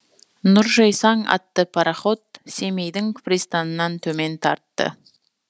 нұржайсаң аты пароход семейдің пристанынан төмен тартты